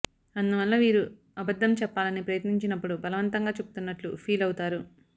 అందువల్ల వీరు అబద్ధం చెప్పాలని ప్రయత్నించినప్పుడు బలవంతంగా చెబుతున్నట్లు ఫీల్ అవుతారు